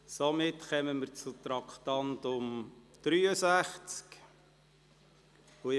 Somit kommen wir zum Traktandum 63.